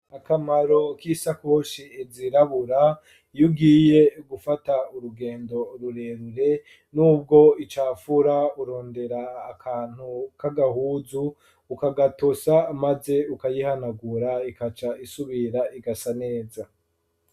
Akamaro k'isakoshi zirabura, iyugiye gufata urugendo rurerure n'ubwo icafura urondera akantu k'agahuzu ukagatosa maze ukayihanagura ikaca isubira igasa neza.